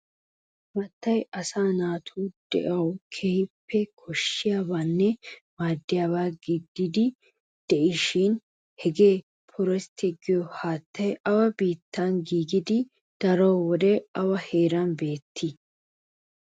Haattay asaa naatu de'uwan keehippe koshshiyabanne maaddiyaba gididi de'ishin hagee pooreestte giyo haattay awa biittan giigidi darotoo awa heeran beettii?